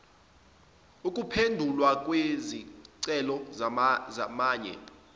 ukuphendulwa kwezicelo zamanye